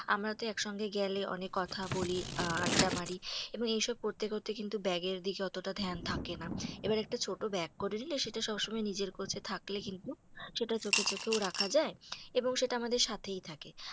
আমরা তো একসঙ্গে গেলে অনেক কথা বলি, আড্ডা মারি। এবং এইসব করতে করতে কিন্তু bag এর দিকে অতটা থাকে না। এবার একটা ছোট bag করে নিলে, সেটা সবসময় নিজের কাছে থাকলে কিন্তু সেটা চোখে চোখেও রাখা যায়। এবং সেটা আমাদের সাথেই থাকে।